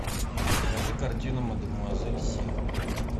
покажи картину мадемуазель си